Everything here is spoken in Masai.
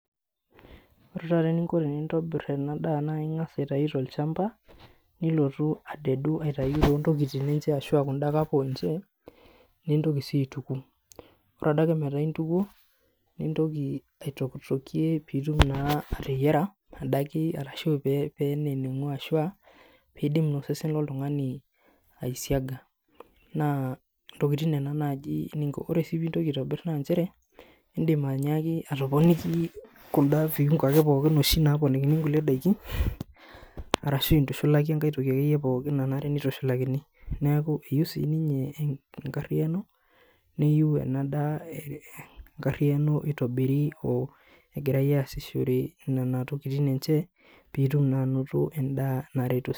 Ore taata eninko tenintobirr ena daa naa ing'as aitayu tolchamba nilotu adedu aitau tontokiting ashua kunda kaponche nintoki sii aituku ore adake metaa intukuo nintoki aitokitokie piitum naa ateyiara adake arashu pee peneng'u ashua peidim osesen loltung'ani aisiaga naa intoking nena naaji ninko ore sii pintoki aitobirr nanchere indim anyaaki atoponiki kunda viungo ake pookin oshi naponikini inkulie daiki arashu intushulaki enkae toki akeyie pookin nanare nitushulakini neeku eyieu sininye enkarriyiano niyu ena daa enkarriyiano itobiri o egirae aasishore nana tokitin enche piitum naa anoto endaa naret.